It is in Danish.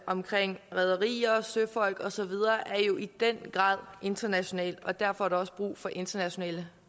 omkring rederier og søfolk og så videre er jo i den grad internationalt og derfor er der også brug for internationale